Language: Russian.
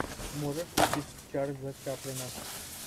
можешь включить чарльза чаплина